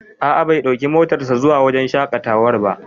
A'a, bai ɗauki motar sa zuwa wajen shaƙatawar ba